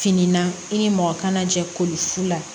Finna i ni mɔgɔ kana jɛ koli fu la